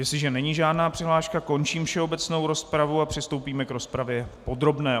Jestliže není žádná přihláška, končím všeobecnou rozpravu a přistoupíme k rozpravě podrobné.